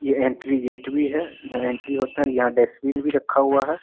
ए entry gate भी है और यहाँ एंट्री होता है और यहाँ डस्टबिन भी रखा हुआ है।